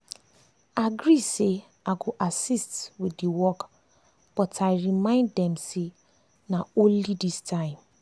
i agree say i go assist with the work but i remind them say na only this time.